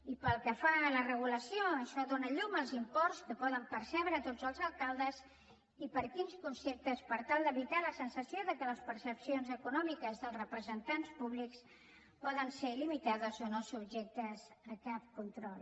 i pel que fa a la regulació això dóna llum als imports que poden percebre tots els alcaldes i per quins conceptes per tal d’evitar la sensació que les percepcions econòmiques dels representants públics poden ser il·jectes a cap control